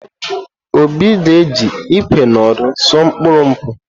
Obi ga-eji ìkwé na òdù usò mkpuru nkwụ.